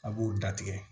A b'o da tigɛ